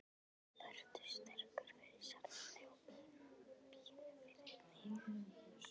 Vertu sterkur, fyrir sjálfan þig og pínu fyrir mig.